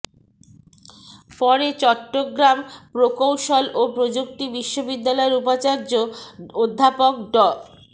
পরে চট্টগ্রাম প্রকৌশল ও প্রযুক্তি বিশ্ববিদ্যালয়ের উপাচার্য অধ্যাপক ড